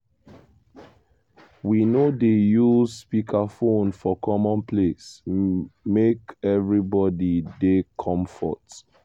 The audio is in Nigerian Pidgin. we no dey use speakerphone for common place make everybody dey komfort.